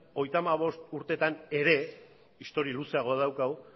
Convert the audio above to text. hogeita hamabost urtetan ere historia luzeagoa daukagu